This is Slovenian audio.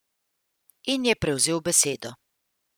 In je prevzel besedo.